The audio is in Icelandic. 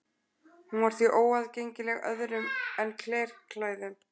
Hún var því óaðgengileg öðrum en klerklærðum.